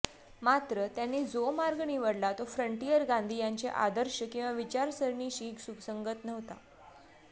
मात्र त्यांनी जो मार्ग निवडला तो फ्रंटियर गांधी यांचे आदर्श किंवा विचारसरणीशी सुसंगत नव्हता